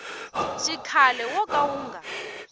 xikhale wo ka wu nga